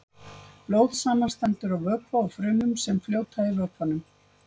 Blóð samanstendur af vökva og frumum sem fljóta í vökvanum.